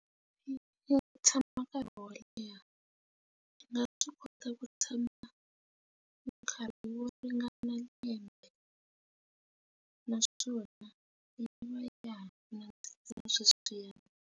Yi tshama nkarhi wo leha swi nga swi kota ku tshama nkarhi wo ringana lembe naswona yi va ya nandzika sweswiyani.